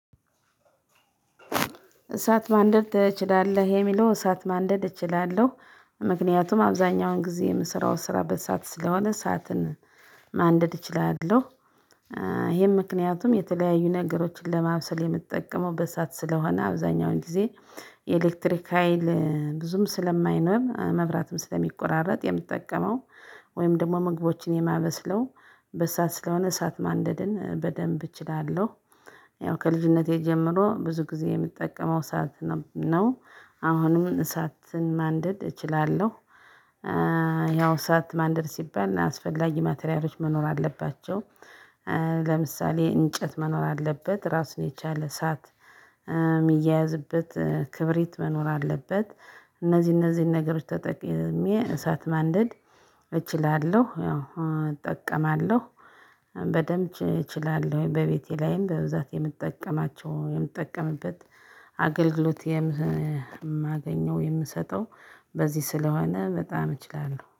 እሳት ማንደድ ትችላለህ የሚለው እሳትማንደድ እችላለሁ ምክንያቱም አብዛኛውን ግዜ የምሰራውን ሰራ በእሳት ስለሆነ እሳትን ማንደድ እችላለሁ። ይሄም ምክንያቱም የተለያዩ ነገሮችን ለማብሰል የምጠቀመው በእሳት ስለሆነ አብዛኛውን ጊዜ። የኤሌክትሪክ ሀይል ብዙም ስለማይኖር መብራትም ስለሚቆራረጥ የምጠቀመው ወይም ደግሞ መግቦችን የማበስለው በእሳት ስለሆነ እሳት ማንደድን በደንብ እችላለሁ። ያው ከልጅነቴ ጀምሮ ብዙ ጊዜ የምትጠቀመው እሳት ነው አሁንም እሳትን ማንደድ እችላለሁ። ያው እሳት ማንደድ ሲባል አስፈላጊ ማቴሪያሎችን መኖር አለባቸው። ለምሳሌ እንጨት መኖር አለበት ራሱን የቻለ እሳት የሚያያዝበት ክብሪት መኖር አለበት። እነዚህ እነዚህን ነገሮች ተጠቅሜ እሳት ማንደድ እችላለሁ ያው እጠቀማለሁ። በደንብ እችላለሁ በቤቴ ላይም በብዛት የምጠቀማቸው የምጠቀምበት አገልግሎት የማገኘው የምሰጠው በዚህ ስለሆነ በጣም እችላለሁ